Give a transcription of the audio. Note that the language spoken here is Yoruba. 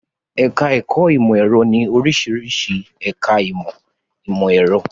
Ẹ̀ká ẹ̀kọ́ ìmọ̀ ẹ̀rọ ní oríṣiríṣi ẹ̀ká ìmọ̀ ìmọ̀ ẹ̀rọ